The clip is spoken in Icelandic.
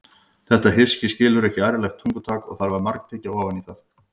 Þetta hyski skilur ekki ærlegt tungutak og þarf að margtyggja ofan í það.